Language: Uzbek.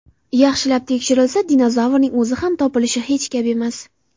Yaxshilab tekshirilsa, dinozavrning o‘zi ham topilishi hech gap emas.